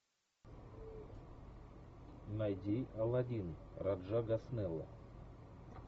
найди алладин раджа госнелла